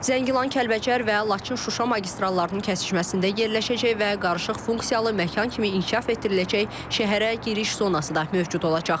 Zəngilan, Kəlbəcər və Laçın-Şuşa magistrallarının kəsişməsində yerləşəcək və qarışıq funksiyalı məkan kimi inkişaf etdiriləcək şəhərə giriş zonası da mövcud olacaq.